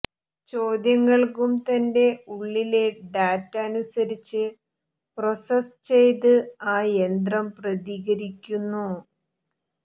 ചോദ്യങ്ങള്ക്കും തന്റെ ഉള്ളിലെ ഡാറ്റ അനുസരിച്ച് പ്രോസസ്സ് ചെയ്ത് ആ യന്ത്രം പ്രതികരിക്കുന്നു